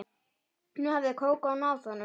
Nú hafði Kókó náð honum.